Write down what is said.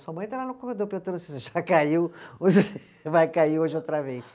Sua mãe está lá no corredor perguntando se você já caiu ou se vai cair hoje outra vez.